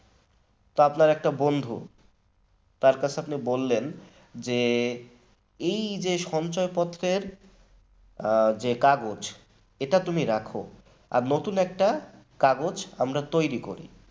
আপনার একটা বন্ধু তার কাছে আপনি বললেন যে এই যে সঞ্চয়পত্রের যে কাগজ এটা তুমি রাখো, আর নতুন একটা কাগজ আমরা তৈরি করি